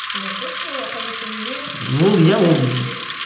олар просто атамекеніне ол иә ол